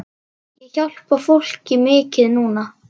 Ég hjálpa fólki mikið núna.